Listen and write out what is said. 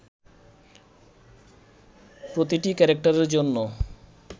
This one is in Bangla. প্রতিটি ক্যারেক্টারের জন্য